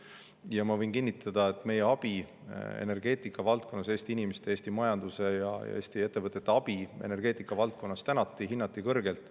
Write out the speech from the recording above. Ja ma võin kinnitada, et meie abi eest energeetikavaldkonnas – Eesti inimeste, Eesti majanduse ja Eesti ettevõtete abi eest energeetikavaldkonnas – tänati ja seda hinnati kõrgelt.